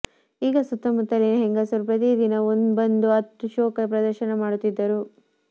ಆಗ ಸುತ್ತಮುತ್ತಲಿನ ಹೆಂಗಸರು ಪ್ರತಿದಿನ ಬಂದು ಅತ್ತು ಶೋಕ ಪ್ರದರ್ಶನ ಮಾಡುತ್ತಿದ್ದರು